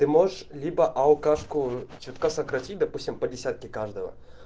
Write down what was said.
ты можешь либо алкашку чутка сократить допустим по десятке каждого